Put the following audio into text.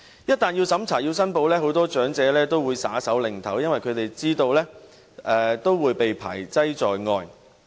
一旦要審查、要申報，很多長者也會"耍手擰頭"，因為他們知道會被排擠在外。